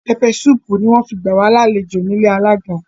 Peppe sùpu ni wọn fi gba wa làléjo ni ìlé àlaga